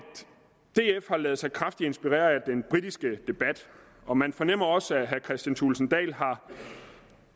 df har ladet sig kraftigt inspirere af den britiske debat og man fornemmer også at herre kristian thulesen dahl har